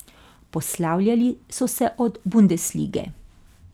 Poslavljali so se od bundeslige.